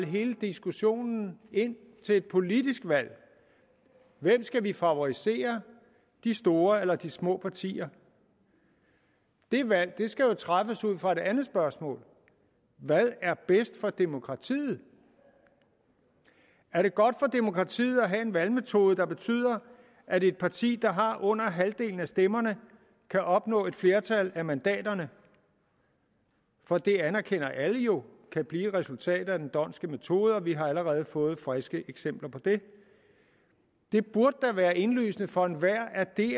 hele diskussionen ind til et politisk valg hvem skal vi favorisere de store eller de små partier det valg skal træffes ud fra et andet spørgsmål hvad er bedst for demokratiet er det godt for demokratiet at have en valgmetode der betyder at et parti der har under halvdelen af stemmerne kan opnå et flertal af mandaterne for det anerkender alle jo kan blive resultatet af den dhondtske metode og vi har allerede fået friske eksempler på det det burde da være indlysende for enhver at det